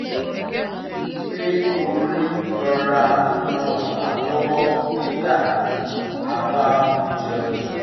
a rí i pé orin rọra ń ràn wa lọwọ nígbà tí a bá ń jẹun